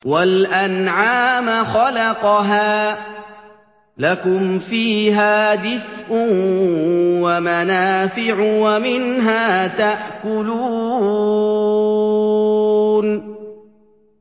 وَالْأَنْعَامَ خَلَقَهَا ۗ لَكُمْ فِيهَا دِفْءٌ وَمَنَافِعُ وَمِنْهَا تَأْكُلُونَ